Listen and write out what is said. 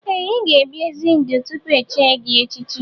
Ee! Ị ga ebi ezi ndụ tupu echie gị echichi.